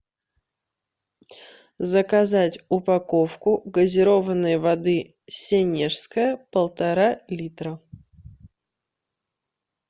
заказать упаковку газированной воды сенежская полтора литра